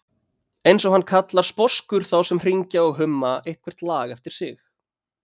eins og hann kallar sposkur þá sem hringja og humma eitthvert lag eftir sig.